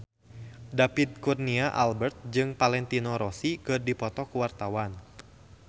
David Kurnia Albert jeung Valentino Rossi keur dipoto ku wartawan